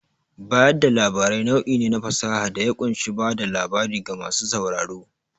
Bayar da labarai nau'i ne na fasaha da ya ƙunshi bada labarai ga masu sauraro.